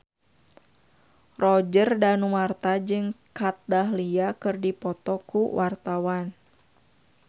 Roger Danuarta jeung Kat Dahlia keur dipoto ku wartawan